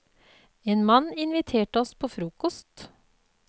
En mann inviterte oss på frokost.